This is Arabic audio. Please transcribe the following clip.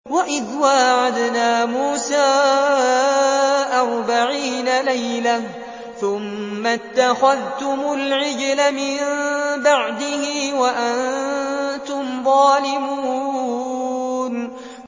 وَإِذْ وَاعَدْنَا مُوسَىٰ أَرْبَعِينَ لَيْلَةً ثُمَّ اتَّخَذْتُمُ الْعِجْلَ مِن بَعْدِهِ وَأَنتُمْ ظَالِمُونَ